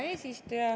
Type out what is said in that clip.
Hea eesistuja!